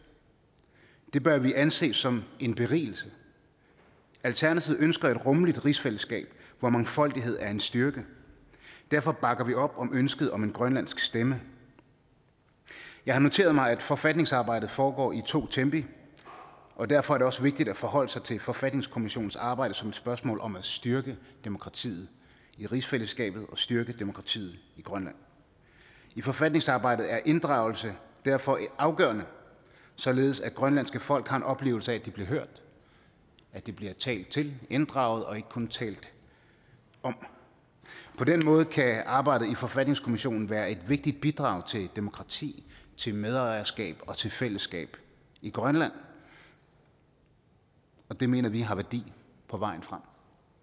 det bør vi anse som en berigelse alternativet ønsker et rummeligt rigsfællesskab hvor mangfoldighed er en styrke og derfor bakker vi op om ønsket om en grønlandsk stemme jeg har noteret mig at forfatningsarbejdet foregår i to tempi og derfor er det også vigtigt at forholde sig til forfatningskommissionens arbejde som et spørgsmål om at styrke demokratiet i rigsfællesskabet og styrke demokratiet i grønland i forfatningsarbejdet er inddragelse derfor afgørende således at det grønlandske folk har en oplevelse af at de bliver hørt at de bliver talt til og inddraget og ikke kun talt om på den måde kan arbejdet i forfatningskommissionen være et vigtigt bidrag til demokrati til medejerskab og til fællesskab i grønland og det mener vi har værdi på vejen frem